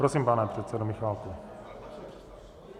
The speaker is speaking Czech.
Prosím, pane předsedo Michálku.